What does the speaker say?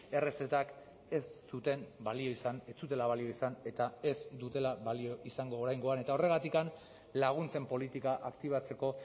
errezetak ez zuten balio izan ez zutela balio izan eta ez dutela balio izango oraingoan eta horregatik laguntzen politika aktibatzeko